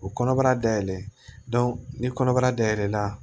U kɔnɔbara dayɛlɛn ni kɔnɔbara dayɛlɛn na